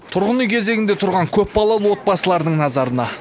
тұрғын үй кезегінде тұрған көпбалалы отбасылардың назарына